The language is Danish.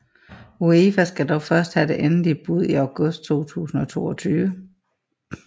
UEFA skal dog først have det endelige bud i august 2022